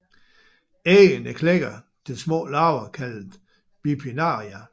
Æggene klækker til små larver kaldet bipinnaria